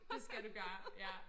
Det skal du gøre ja